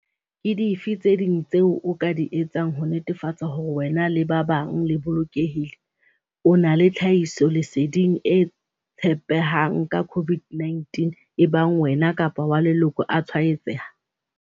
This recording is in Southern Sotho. Ke dife tse ding tseo o ka di etsang ho netefatsa hore wena le ba bang le bolokehile? O na le tlhahisoleding e tshepehang ka COVID-19 ebang wena kapa wa leloko a tshwaetseha?